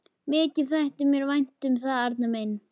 Mikið þætti mér vænt um það, Arnar minn!